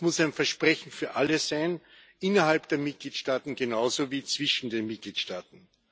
Das muss ein Versprechen für alle sein innerhalb der Mitgliedstaaten genauso wie zwischen den Mitgliedstaaten.